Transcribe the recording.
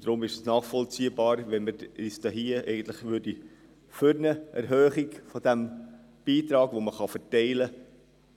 Deshalb ist es nachvollziehbar, wenn wir uns für eine Erhöhung des Beitrags, den man verteilen kann,